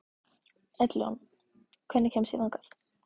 Edilon, hvernig kemst ég þangað?